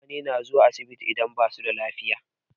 Mutane na zuwa asibiti idan basu da lafiya.